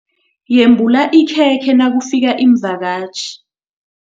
Yembula ikhekhe nakufika iimvakatjhi.